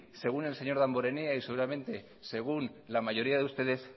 según el señor damborenea y seguramente según la mayoría de ustedes